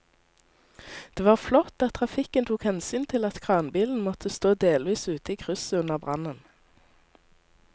Det var flott at trafikken tok hensyn til at kranbilen måtte stå delvis ute i krysset under brannen.